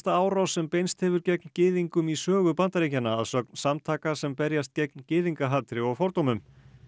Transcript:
árás sem beinst hefur gegn gyðingum í sögu Bandaríkjanna að sögn samtaka sem berjast gegn gyðingahatri og fordómum